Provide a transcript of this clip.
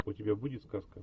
у тебя будет сказка